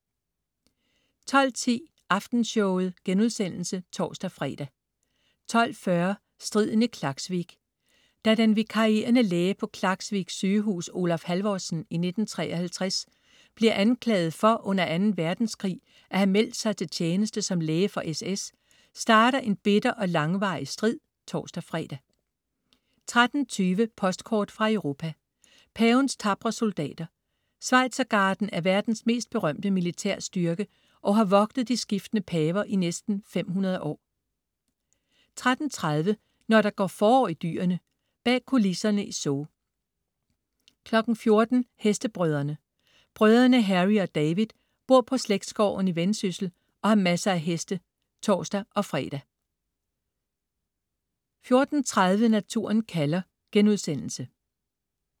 12.10 Aftenshowet* (tors-fre) 12.40 Striden i Klaksvik. Da den vikarierende læge på Klaksvik sygehus, Olaf Halvorsen, i 1953 bliver anklaget for under Anden Verdenskrig at have meldt sig til tjeneste som læge for SS, starter en bitter og langvarig strid (tors-fre) 13.20 Postkort fra Europa: Pavens tapre soldater. Schweizergarden er verdens mest berømte militærstyrke og har vogtet de skiftende paver i næsten 500 år 13.30 Når der går forår i dyrene. Bag kulisserne i zoo 14.00 Hestebrødrene. Brødrene Harry og David bor på slægtsgården i Vendsyssel og har masser af heste (tors-fre) 14.30 Naturen kalder*